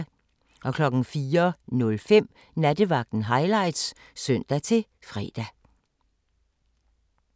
04:05: Nattevagten Highlights (søn-fre)